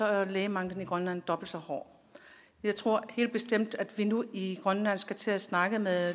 er lægemanglen i grønland dobbelt så hård jeg tror helt bestemt at vi nu i grønland skal til at snakke med